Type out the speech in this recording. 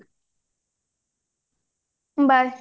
bye